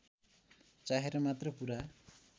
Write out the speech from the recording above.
चाहेर मात्र पूरा